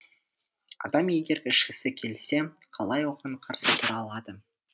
адам егер ішкісі келсе қалай оған қарсы тұра алады